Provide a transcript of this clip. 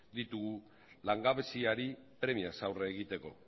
ditugu langabeziari premiaz aurre egiteko